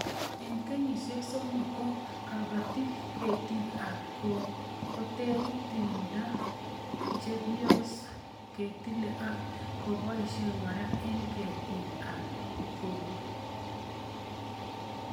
Eng kenyishek somok ko kipati ketik ab koko koterit ,timdo che pios ketile ak keposhe kora eng' ketik ab koko